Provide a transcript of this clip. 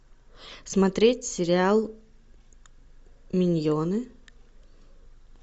смотреть сериал миньоны